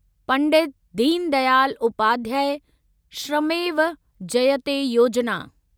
Pandit Deen Dayal Upadhyay Shramev Jayate Yojana